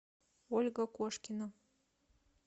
ольга кошкина